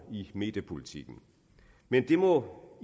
i mediepolitikken men det må